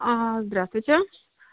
здравствуйте